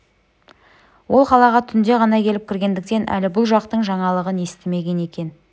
ол қалаға түнде ғана келіп кіргендіктен әлі бұл жақтың жаңалығын естімеген екен